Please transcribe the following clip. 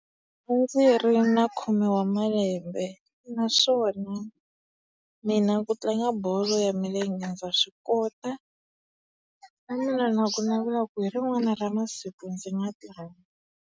A ndzi ri ni khume wa malembe naswona mina ku tlanga bolo ya milenge ndza swi kota. Na mina ni na kunavela ku hi rin'wana ra masiku ndzi nga tlanga.